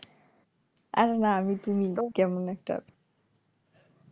আরে না আমি তুমি কেমন একটা